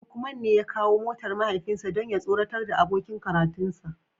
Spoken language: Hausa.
Lukman ne ya kawo motar mahaifinsa don ya tsoratar da abokin karatunsa